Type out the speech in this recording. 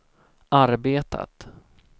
arbetat